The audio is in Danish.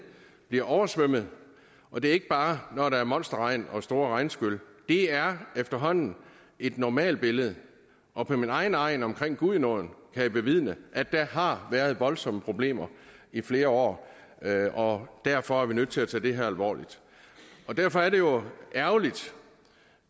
bliver oversvømmet og det er ikke bare når der er monsterregn og store regnskyl det er efterhånden et normalbillede og på min egen egn omkring gudenåen kan jeg bevidne at der har været voldsomme problemer i flere år derfor er vi nødt til at tage det her alvorligt og derfor er det jo ærgerligt